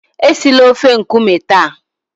esila ofe nkume taa!